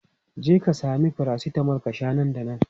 Jeka sami paracetamol ka sha nan da nan!